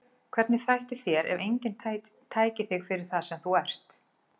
Hvernig þætti þér ef enginn tæki þig fyrir það sem þú ert?